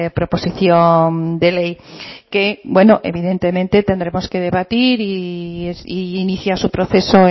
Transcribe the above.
proposición de ley que evidentemente tendremos que debatir e iniciar su proceso